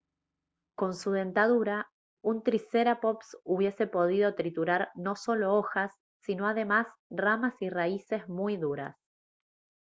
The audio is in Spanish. con su dentadura un triceraptops hubiese podido triturar no solo hojas sino además ramas y raíces muy duras